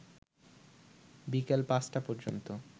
বিকেল ৫টা পর্যন্ত